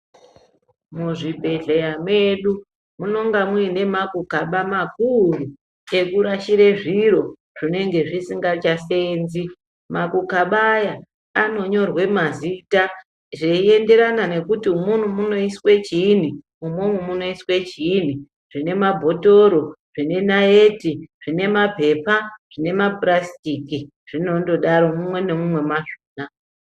Muzvibhedhleya medu, munonga muine makaba makuru, ekurashire zviro zvinenge zvisingachaseenzi. Makukaba aya anonyorwe mazita zveienderana nekuti umwomwo munoiswe chiini, umwomwo munoiswe chiini zvine mabhothoro, zvine naiti, zvine mapepa, zvine mapurasitiki. Zvinondodaro mumwe nemumwe mwazvona.